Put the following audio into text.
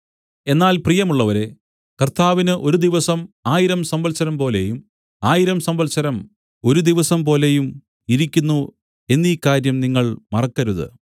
എന്നാൽ പ്രിയമുള്ളവരേ കർത്താവിന് ഒരു ദിവസം ആയിരം സംവത്സരംപോലെയും ആയിരം സംവത്സരം ഒരു ദിവസംപോലെയും ഇരിക്കുന്നു എന്നീ കാര്യം നിങ്ങൾ മറക്കരുത്